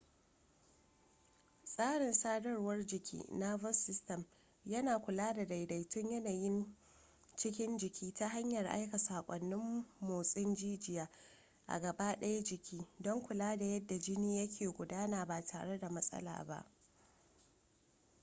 tsarin sadarwar jiki nervous system yana kula da daidaitun yanayin cikin jiki ta hanyar aika saƙonnin motsin jijiyoyi a gabadayan jiki don kula da yadda jini yake gudana ba tare da matsala ba